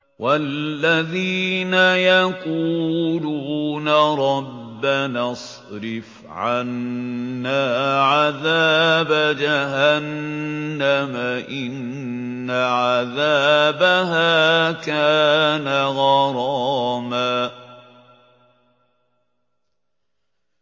وَالَّذِينَ يَقُولُونَ رَبَّنَا اصْرِفْ عَنَّا عَذَابَ جَهَنَّمَ ۖ إِنَّ عَذَابَهَا كَانَ غَرَامًا